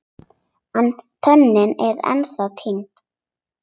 En tönnin er ennþá týnd.